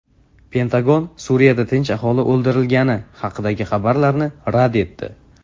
Pentagon Suriyada tinch aholi o‘ldirilgani haqidagi xabarlarni rad etdi.